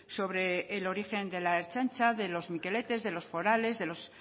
sobre el origen de la ertzaintza de los mikeletes de los forales de los